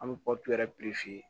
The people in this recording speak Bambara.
An bɛ yɛrɛ